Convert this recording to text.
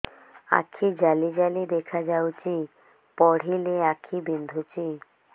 ଆଖି ଜାଲି ଜାଲି ଦେଖାଯାଉଛି ପଢିଲେ ଆଖି ବିନ୍ଧୁଛି